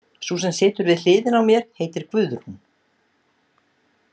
Sú sem situr við hliðina á mér heitir Guðrún.